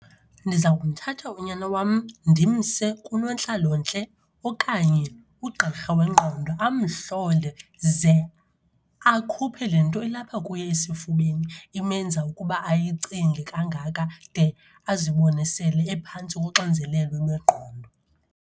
Ndiza kuthatha unyana wam ndimse kunontlalontle okanye ugqirha wengqondo amhlole. Ze akhuphe le nto ilapha kuye esifubeni imenza ukuba ayicinge kangaka de azibone sele ephantsi koxinzelelo lwengqondo.